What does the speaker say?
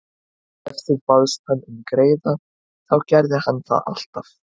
Ef þú baðst hann um greiða þá gerði hann það alltaf.